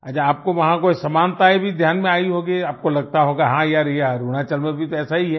अच्छा आपको वहां कोई समानताएं भी ध्यान में आई होगी आपको लगता होगा हां यार ये अरुणाचल में भी तो ऐसा ही है